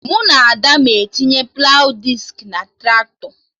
Mụ na Ada na-etinye plawụ diski na Traktọ